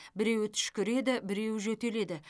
біреуі түшкіреді біреуі жөтеледі